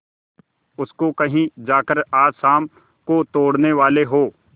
उसको कहीं जाकर आज शाम को तोड़ने वाले हों